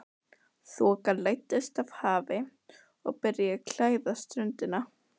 Þoka læddist af hafi og byrjaði að klæða ströndina.